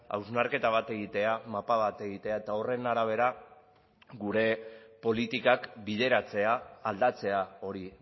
hausnarketa bat egitea mapa bat egitea eta horren arabera gure politikak bideratzea aldatzea hori